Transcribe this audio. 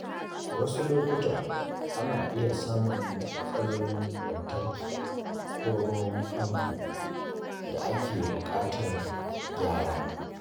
Wasu lokuta, ana iya samun matsalolin lantarki ko ruwan famfo da ke buƙatar gyara.